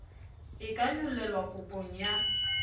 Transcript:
e ka nyollelwa kopong ya